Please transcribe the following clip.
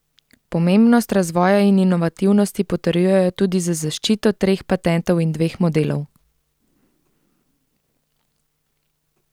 Pomembnost razvoja in inovativnosti potrjujejo tudi z zaščito treh patentov in dveh modelov.